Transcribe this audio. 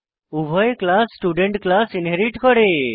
উভয় class student class inherit করে